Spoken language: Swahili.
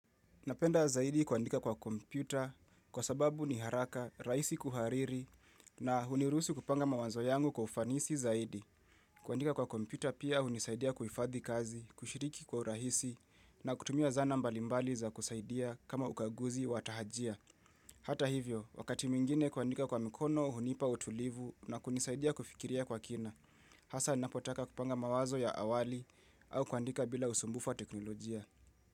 Napenda zaidi kuandika kwa kompyuta kwa sababu ni haraka, rahisi kuhariri na huniruhusu kupanga mawazo yangu kwa ufanisi zaidi. Kuandika kwa kompyuta pia hunisaidia kuhifadhi kazi, kushiriki kwa urahisi na kutumia zana mbalimbali za kusaidia kama ukaguzi watahajia. Hata hivyo, wakati mingine kuandika kwa mikono, hunipa utulivu na kunisaidia kufikiria kwa kina. Hasa ninapotaka kupanga mawazo ya awali au kuandika bila usumbufa wa teknolojia.